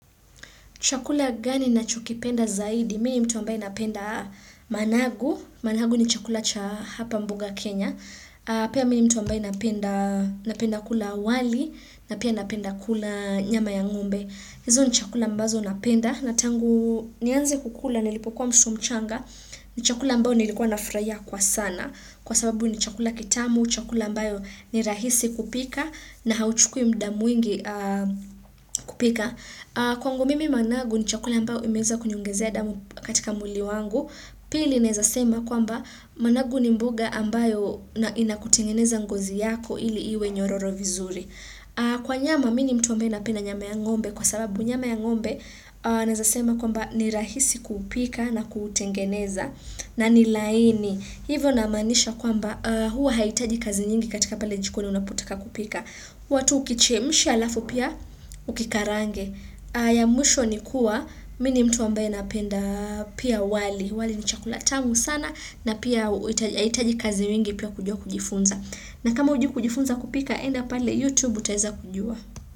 Chakula gani ninachokipenda zaidi, mimi mtu ambaye napenda managu, managu ni chakula cha hapa mboga Kenya. Pia mini mtu ambaye napenda kula wali, na pia napenda kula nyama ya ng'ombe. Hizo ni chakula ambazo napenda, na tangu nianze kukula nilipokuwa msumchanga, ni chakula ambayo nilikuwa nafurahia kwa sana. Kwa sababu ni chakula kitamu, chakula ambayo ni rahisi kupika, na hauchukui muda mwingi kupika. Kwangu mimi managu ni chakula ambayo imeweza kuniongezea damu katika mwili wangu. Pili naweza sema kwamba managu ni mboga ambayo inakutengeneza ngozi yako ili iwe nyororo vizuri. Kwa nyama mimi mtu ambaye napenda nyama ya ng'ombe kwa sababu nyama ya ng'ombe Naeza sema kwamba ni rahisi kupika na kuutengeneza na ni laini hivo namaanisha kwamba huwa hahitaji kazi nyingi katika pale jikoni unapotaka kupika we tu ukichemsha alafu pia ukikarange ya mwisho ni kuwa mimi mtu ambaye napenda pia wali, wali ni chakulantamu sana na pia haitaji kazi mingi pia kujua kujifunza. Na kama hujui kujifunza kupika enda pale youtube utaiza kujua.